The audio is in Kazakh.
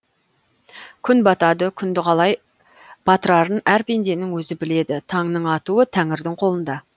күн батады күнді қалай батырарын әр пенденің өзі біледі таңның атуы тәңірдің қолында